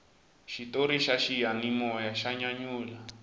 xitori xa xiyanimoya xa nyanyula